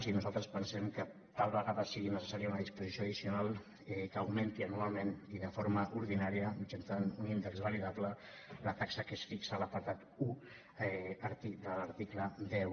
i nosaltres pensem que tal vegada sigui necessària una disposició addicional que augmenti anualment i de forma ordinària mitjançant un índex validable la taxa que es fixa a l’apartat un de l’article deu